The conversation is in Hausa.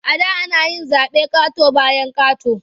A da ana zaɓe ƙato-bayan ƙato.